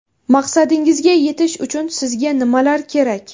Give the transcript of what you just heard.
Maqsadingizga yetish uchun sizga nimalar kerak?